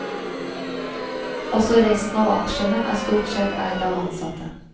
Også resten av aksjene er stort sett eid av ansatte.